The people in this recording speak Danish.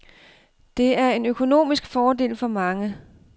Det er en økonomisk fordel for mange.